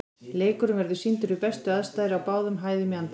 Leikurinn verður sýndur við bestu aðstæður á báðum hæðum í anddyrinu.